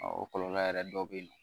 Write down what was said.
o kɔlɔlɔ yɛrɛ dɔw bɛ yen nɔ